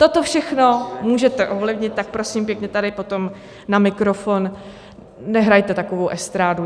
Toto všechno můžete ovlivnit, tak prosím pěkně tady potom na mikrofon nehrajte takovou estrádu.